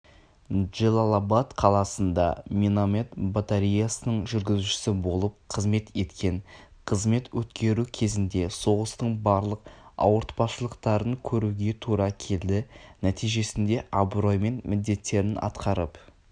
джелалабад қаласында миномет батареясының жүргізушісі болып қызмет еткен қызмет өткеру кезінде соғыстың барлық ауыртпашылықтарын көруге тура келді нәтижесінде абыроймен міндеттерін атқарып